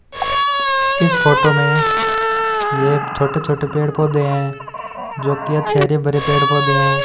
इस फोटो में यह छोटे छोटे पेड़ पौधे हैं जोकि अच्छे हरे भरे पेड़ पौधे हैं।